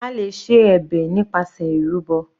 A lè ṣe ẹ̀bẹ̀ nípasẹ̀ ìrúbọ.